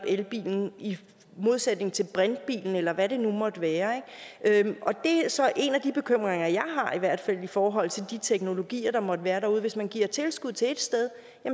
elbilen i modsætning til brintbilen eller hvad det nu måtte være det er så en af de bekymringer jeg i hvert fald har i forhold til de teknologier der måtte være derude hvis man giver tilskud til et sted